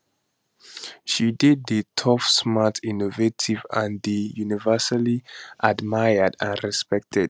she dey dey tough smart innovative and dey universally admired and respected